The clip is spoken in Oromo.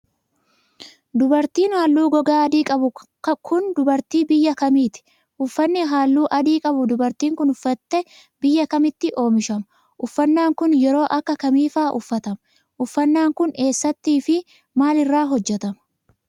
Dubartiin haalluu gogaa adii qabdu kun, dubartii biyya kamiiti? Uffanni haalluu adii qabu dubartiin kun uffatte biyya kamitti oomishama? Uffannaan kun, yeroo akka kamii faa uffatama? Uffannaan kun eessatti fi maal irraa hojjatama?